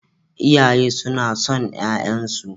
Iyaye suna son ƴaƴansu.